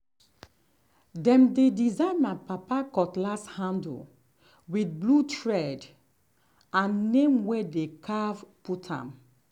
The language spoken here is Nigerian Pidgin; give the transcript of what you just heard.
dem bin design my papa cutlass handle with blue thread and name way dey carve put am.